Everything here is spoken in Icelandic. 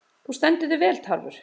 Þú stendur þig vel, Tarfur!